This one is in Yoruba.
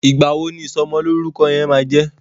Igba wo ní ìsomo lórúko yén má jé?